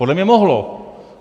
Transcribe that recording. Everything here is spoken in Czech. Podle mě mohlo.